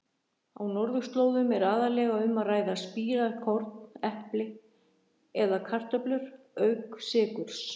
Á norðurslóðum er aðallega um að ræða spírað korn, epli eða kartöflur auk sykurs.